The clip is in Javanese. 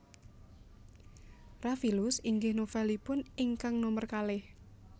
Rafilus inggih novelipun ingkang nomer kalih